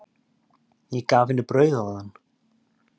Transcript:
Ég gaf henni brauð áðan.